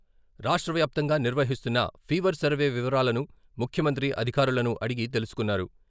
రాష్ట్రవ్యాప్తంగా నిర్వహిస్తున్న fever survey వివరాలను ముఖ్యమంత్రి అధికారులను అడిగి తెలుసుకున్నారు.